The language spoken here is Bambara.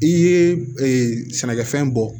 I ye sɛnɛkɛfɛn bɔ